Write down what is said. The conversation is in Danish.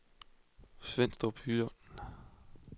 Svenstrup Jylland